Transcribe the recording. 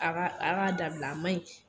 A ka a ka dabila, a ma ɲi.